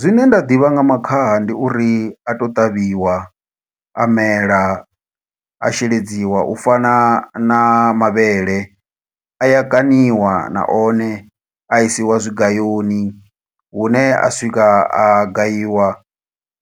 Zwine nda ḓivha nga makhaha, ndi uri a to ṱavhiwa, a mela, a sheledziwa. U fana na mavhele, a kaṋiwa na one, a isiwa tshigayoni. Hune a swika a gayiwa